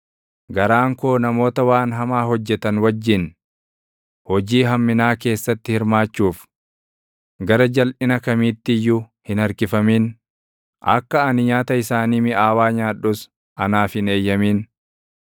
Garaan koo namoota waan hamaa hojjetan wajjin, hojii hamminaa keessatti hirmaachuuf, gara jalʼina kamiitti iyyuu hin harkifamin; akka ani nyaata isaanii miʼaawaa nyaadhus anaaf hin eeyyamin.